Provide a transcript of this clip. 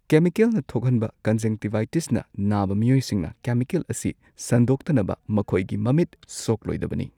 ꯀꯦꯃꯤꯀꯦꯜꯅ ꯊꯣꯛꯍꯟꯕ ꯀꯟꯖꯪꯇꯤꯚꯥꯏꯇꯤꯁꯅꯅꯥꯕ ꯃꯤꯑꯣꯏꯁꯤꯡꯅ ꯀꯦꯃꯤꯀꯦꯜ ꯑꯁꯤ ꯁꯟꯗꯣꯛꯇꯅꯕ ꯃꯈꯣꯌꯒꯤ ꯃꯃꯤꯠ ꯁꯣꯛꯂꯣꯢꯗꯕꯅꯤ ꯫